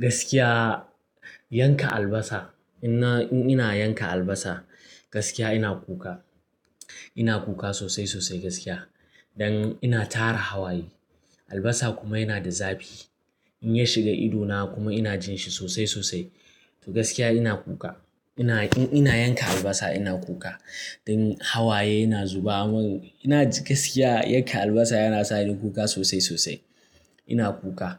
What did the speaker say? Gaskiya yanka albasa, in ina yanka albasa gaskiya ina kuka. Ina kuka sosai, sosai gaskiya. Dan ina tara hawaye. Albasa kuma yana da zafi. In ya shiga idona kuma ina jin shi sosai, sosai. To gaskiya ina kuka. Ina, in ina yanka albasa ina kuka. Dan hawaye yana zuba min, ina ji gaskiya yanke albasa yana sa ni kuka sosai, sosai. Ina kuka.